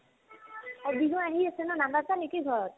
অ, বিহু আহি আছে নে নানাচা নেকি ঘৰত ?